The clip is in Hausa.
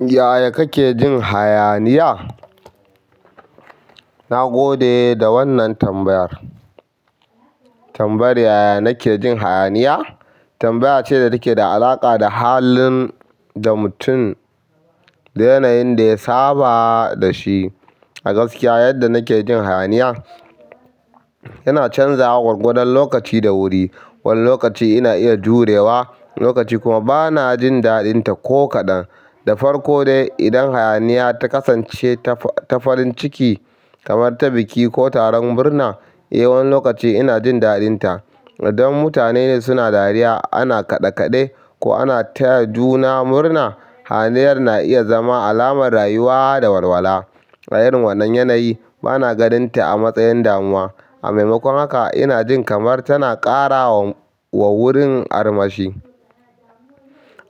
Yaya kake jin hayaniya? Na gode da wannan tambayar. Tambayar yaya nake jin hayaniya? Tambaya ce da take da alaƙa da halin da mutum, da yanayin da ya saba da shi. A gaskiya yadda nake jin hayaniya yana canzawa gwargwadon lokaci da wuri. Wani lokaci ina iya jurewa, wani lokaci kuma bana jin daɗinta ko kaɗan. Da farko dai idan hayaniya ta kasance ta farin ciki kamar ta biki ko taron murna, eh wani lokaci ina jin daɗinta. Idan mutane suna dariya ana kaɗekaɗe ko ana taya juna murna, hayaniyar na iya zama alamar rayuwa da walwala. A irin wannan yanayi bana ganinta a matsayin damuwa. A maimakon haka ina jin kamar tana ƙara wa wurin armashi.